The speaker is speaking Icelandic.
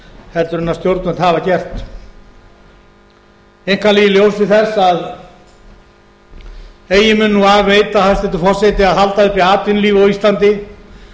heldur en stjórnvöld hafa gert einkanlega í ljósi þess að eigi mun nú af veita hæstvirtur forseti að halda uppi atvinnulífi á íslandi